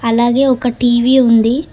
అలాగే ఒక టీవీ ఉంది.